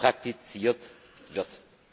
praktiziert wird.